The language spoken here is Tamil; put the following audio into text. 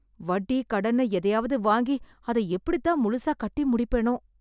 வட்டி கடன்னு எதையாவது வாங்கி அத எப்படி தான் முழுசா கட்டி முடிப்பேனோ